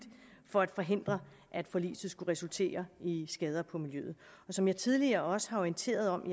for at forhindre at forliset skulle resultere i skader på miljøet som jeg tidligere også har orienteret om